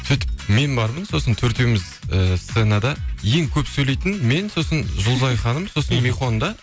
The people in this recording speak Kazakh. сөйтіп мен бармын сосын төртеуіміз ііі сценада ең көп сөйлейтін мен сосын жұлдызай ханым сосын михон да